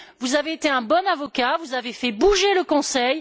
Vous avez été un bon avocat, vous avez fait bouger le Conseil.